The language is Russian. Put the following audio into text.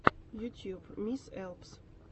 ютюб мисс лпс